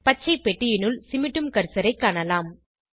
பச்சைப் பெட்டியினுள் சிமிட்டும் கர்சரைக் காணலாம்